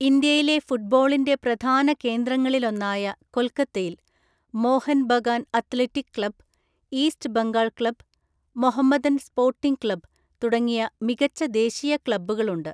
ഇന്ത്യയിലെ ഫുട്ബോളിൻ്റെ പ്രധാന കേന്ദ്രങ്ങളിലൊന്നായ കൊൽക്കത്തയിൽ Mohun Bagan athletic club, east Bengal club, Mohammedan sporting club തുടങ്ങിയ മികച്ച ദേശീയ ക്ലബ്ബുകളുണ്ട്.